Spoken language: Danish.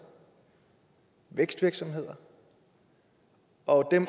vækstvirksomheder og